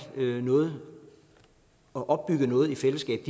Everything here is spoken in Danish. noget og opbygge noget i fællesskab